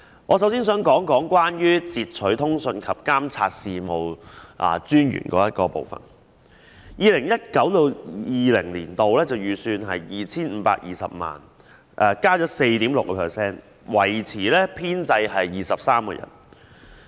我首先想談談截取通訊及監察事務專員的總目，有關開支在 2019-2020 年度的預算為 2,520 萬元，增加 4.6%， 維持編制23人。